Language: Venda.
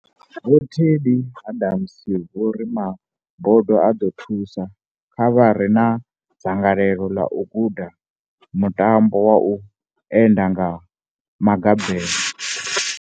Vho Teddi Adams vho ri ma bodo a ḓo thusa kha vha re na dzangalelo ḽa u guda muta mbo wa u enda nga maga belo.